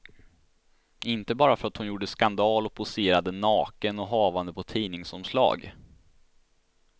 Inte bara för att hon gjorde skandal och poserade naken och havande på ett tidningsomslag.